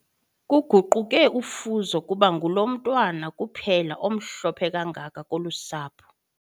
Kuguquke ufuzo kuba ngulo mntwana kuphela omhlophe kangaka kolu sapho.